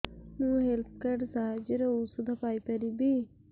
ମୁଁ health card ସାହାଯ୍ୟରେ ଔଷଧ ପାଇ ପାରିବି